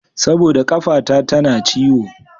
Saboda ƙafata tana ciwo.